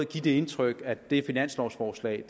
give det indtryk at det finanslovforslag